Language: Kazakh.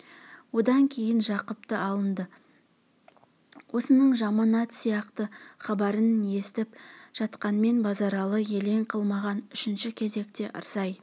одан кейін жақыптан алынды осының жаманат сияқты хабарын естіп жатқанмен базаралы елең қылмаған үшінші кезекте ырсай